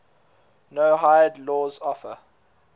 noahide laws offer